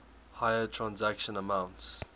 higher transaction amounts